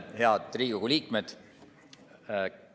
Head Riigikogu liikmed!